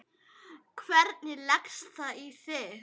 Hvernig leggst það í þig?